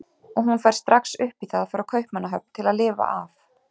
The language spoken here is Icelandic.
Og hún fær strax upp í það frá Kaupmannahöfn til að lifa af.